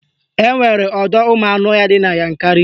Enwere ọdọụmụanụọhịa dị na Yankarị